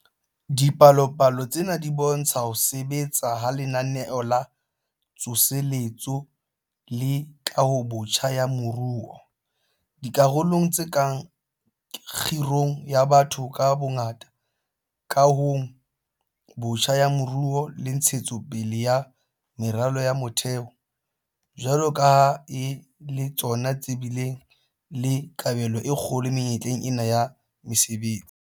Dipalopalo tsena di bo ntsha ho sebetsa ha Lenaneo la Tsoseletso le Kahobotjha ya Moruo - dikarolong tse kang kgirong ya batho ka bongata, kahong botjha ya moruo le ntshetso pele ya meralo ya motheo - jwalo ka ha e le tsona tse bileng le kabelo e kgolo menyetleng ena ya mesebetsi.